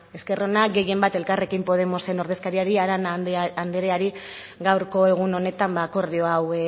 esker ona gehienbat elkarrekin podemosen ordezkariari arana andreari gaurko egun honetan akordio hau